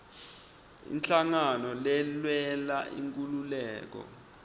inhlangano lelwela inkhululeko